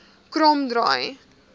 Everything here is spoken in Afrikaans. kromdraai